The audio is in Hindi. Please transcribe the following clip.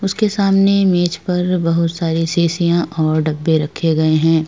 उसके सामने मेज पर बहोत सारे शीशियां और डब्बे रखे गए हैं।